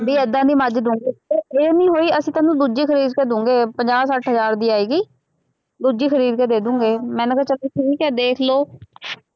ਬਈ ਏਦਾਂ ਦੀ ਮੱਝ ਦੇਊਂਗੇ, ਇਹ ਨਹੀਂ ਹੋਈ ਅਸੀਂ ਤੈਨੂੰ ਦੂਜੀ ਖਰੀਦ ਕੇ ਦੇਊਂਗੇ, ਪੰਜਾਹ ਸੱਠ ਹਜ਼ਾਰ ਦੀ ਆਏਗੀ, ਦੂਜੀ ਖਰੀਦੇ ਕੇ ਦੇ ਦੇਊਂਗੇ, ਮੈਂ ਕਿਹਾ ਚੱਲ ਫੇਰ ਠੀਕ ਹੈ, ਦੇਖ ਲਉ